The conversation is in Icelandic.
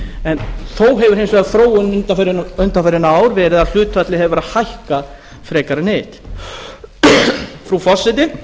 en þó hefur hins vegar þróunin undanfarin ár verið að hlutfallið hefur verið að hækka frekar en hitt frú forseti